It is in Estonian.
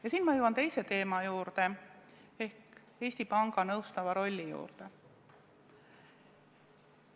Ja nüüd ma jõuan teise teema juurde ehk Eesti Panga nõustava rolli juurde.